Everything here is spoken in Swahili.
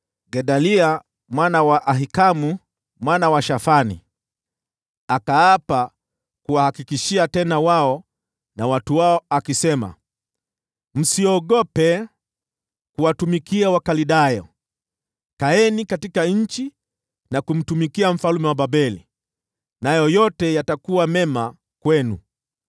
Gedalia mwana wa Ahikamu mwana wa Shafani akaapa ili kuwatia moyo wao na watu wao. Akasema: “Msiogope kuwatumikia Wakaldayo. Kaeni katika nchi na kumtumikia mfalme wa Babeli, na itakuwa vyema kwenu.